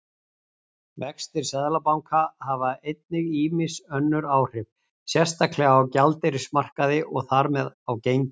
Vextir Seðlabanka hafa einnig ýmis önnur áhrif, sérstaklega á gjaldeyrismarkaði og þar með á gengi.